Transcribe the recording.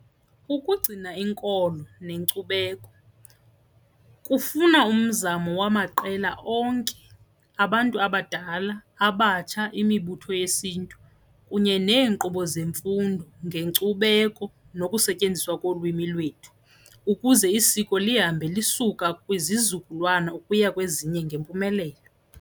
Ukugcina inkolo nenkcubeko kufuna umzamo wamaqela onke abantu abadala, abatsha, imibutho yesiNtu kunye neenkqubo zemfundo ngenkcubeko nokusetyenziswa kolwimi lwethu ukuze isiko lihambe lisuka kwizizukulwana ukuya kwezinye ngempumelelo.